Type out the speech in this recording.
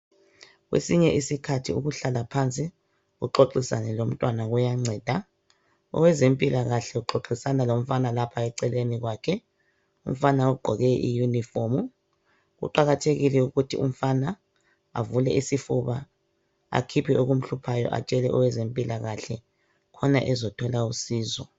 Kwesinye iskhathi ukuhlala phansi uxoxisane lomntwana kuyanceda owezempilakahle uxoxisana lomfana lapha eceleni kwakhe. Umfana ugqoke iyunifomu. Kuqakathekile ukuthi umfana avule isifuba akhiphe okumhluphayo atshele owezempilakahle ukuze athole usizo.